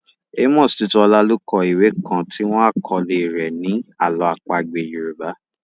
Amos Tutuola ló kọ ìwé kan tí wọ́n àkọ́lé rẹ̀ ni Àlọ́ àpagbé Yorùbá.